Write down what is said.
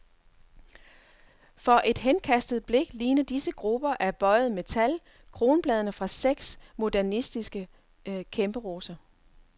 For et henkastet blik ligner disse grupper af bøjet metal, kronbladene fra seks modernistiske kæmperoser.